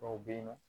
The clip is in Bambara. Dɔw bɛ yen nɔ